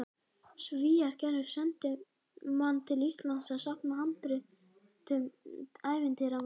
Svíar gerðu sendimann til Íslands að safna handritum, ævintýramanninn